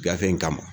Gafe in kama